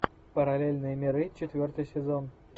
параллельные миры четвертый сезон